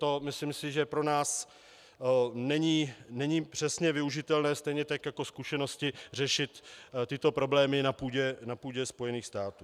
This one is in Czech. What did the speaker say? To si myslím, že pro nás není přesně využitelné, stejně tak jako zkušenosti řešit tyto problémy na půdě Spojených států.